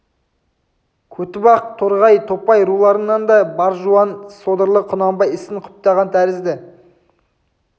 көтібақ торғай топай руларының да бар жуан содырлары құнанбай ісін құптаған тәрізді